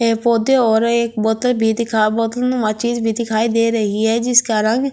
पौधे और एक बोतल में माचिस भी दिखाई दे रही हैं जिसका रंग।